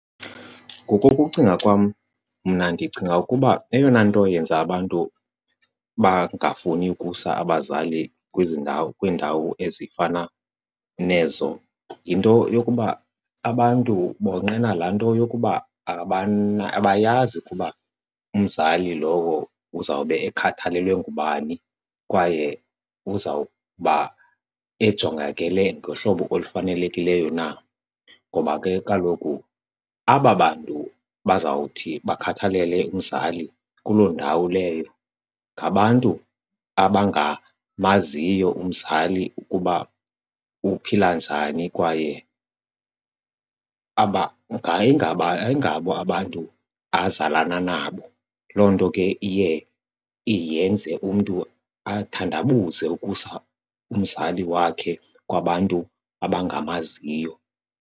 Ngokokucinga kwam, mna ndicinga ukuba eyona nto yenza abantu bangafuni ukusa abazali kwezi ndawo kwiindawo ezifana nezo yinto yokuba abantu bonqena laa nto yokuba abayazi ukuba umzali lowo uzawube ekhathalelwe ngubani kwaye uza kuba ejongakele ngohlobo olufanelekileyo na. Ngoba ke kaloku aba bantu bazawuthi bakhathalele umzali kuloo ndawo leyo ngabantu abangamaziyo umzali ukuba uphila njani kwaye ayingabo abantu azalana nabo. Loo nto ke iye iyenze umntu athandabuze ukusa umzali wakhe kwabantu abangamaziyo.